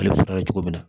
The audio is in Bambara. Ale bɛ sɔrɔ kɛ cogo min na